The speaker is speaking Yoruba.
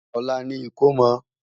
olá ní ikọ̀mò